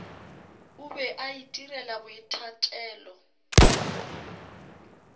o be a itirela boithatelo